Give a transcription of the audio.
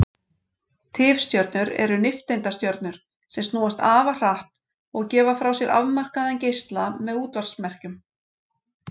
Tifstjörnur eru nifteindastjörnur sem snúast afar hratt og gefa frá sér afmarkaðan geisla með útvarpsmerkjum.